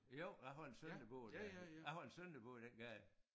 Jo jeg har en søn der bor der jeg har en søn der bor i den gade